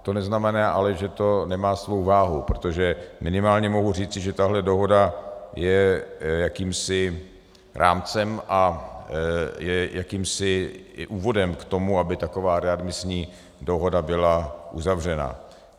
To neznamená ale, že to nemá svou váhu, protože minimálně mohu říci, že tahle dohoda je jakýmsi rámcem a je jakýmsi úvodem k tomu, aby taková readmisní dohoda byla uzavřena.